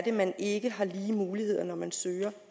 er man ikke har lige muligheder når man søger